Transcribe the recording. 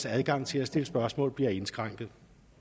adgang til at stille spørgsmål bliver indskrænket